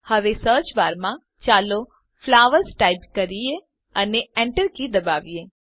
હવે સર્ચબારમાં ચાલો ફ્લાવર્સ ટાઈપ કરીએ અને Enter કી દબાવીએ